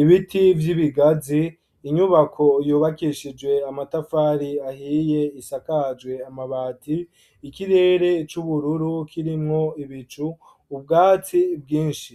ibiti vy'ibigazi inyubako yubakeshijwe amatafari ahiye isakajwe amabati ikirere c'ubururu kirimwo ibicu ubwatsi bwinshi.